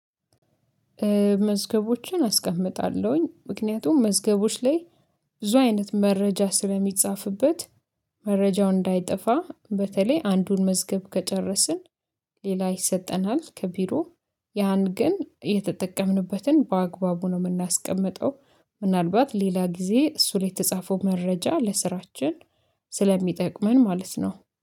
መዝገቦችን አስቀምጣለሁኝ ምክንያቱም መዝገቦች ላይ ብዙ አይነት መረጃ ስለሚጻፍበት። መረጃው እንዳይጠፋ በተለይ አንዱን መዝገብ ከጨረስን ሌላ ይሰጠናል። ከቢሮ ያን ግን የተጠቀምንበትን በአግባቡ ነው የምናስቀምጠው። ምናልባት ሌላ ጊዜ እሱ ላይ የተጻፈው መረጃ ለስራችን ስለሚጠቅመን ማለት ነው